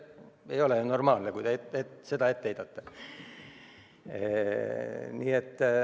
Ei ole normaalne, kui te seda ette heidate.